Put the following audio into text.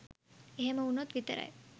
එහෙම වුණොත් විතරයි